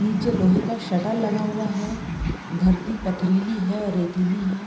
निचे लोहे का शटर लगा हुआ है। धरती पथरीली है और रेतीली है।